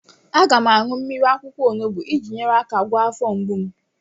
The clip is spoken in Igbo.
Aga m aṅụ mmiri akwụkwọ onubu iji nyere aka gwọọ afọ mgbu m.